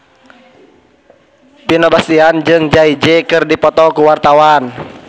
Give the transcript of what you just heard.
Vino Bastian jeung Jay Z keur dipoto ku wartawan